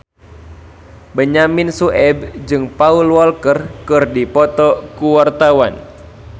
Benyamin Sueb jeung Paul Walker keur dipoto ku wartawan